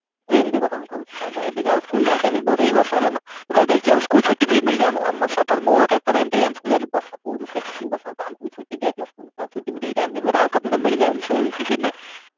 rainy day କଥା ମୁଁ କହୁଛି ଏବେ ଏମତି school ଜାଉଚ ଏମିତି ବର୍ଷା ହେଲା ନା ତ ଦେଖିଚ ଆମେ school ଛୁଟି ବି ମିଳିଯାଏ ଆମକୁ suppose ବର୍ଷା ବହୁତ ଜୋରସେ extreme ବର୍ଷା ହେଇଥିଲା ଆମକୁ ବି ଛୁଟି ଦିଆ ହେଇଥିଲା ତ ଛୁଟି ଫୁଟି ଏଇ time ରେ ହଲ୍କା ଫୁଲ୍କା ମିଳିଯାଏ